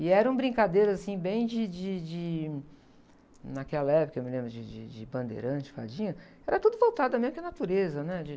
De fazer coisas, de fazer roda, fazer fogueira.